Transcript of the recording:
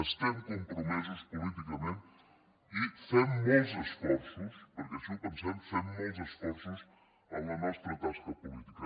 estem compromesos políticament i fem molts esforços perquè així ho pensem en la nostra tasca política